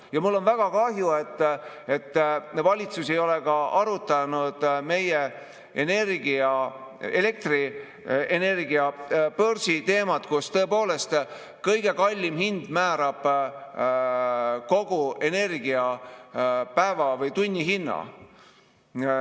Ja mul on väga kahju, et valitsus ei ole arutanud meie elektrienergia börsi teemat, kus tõepoolest kõige kallim hind määrab kogu energia päeva- või tunnihinna.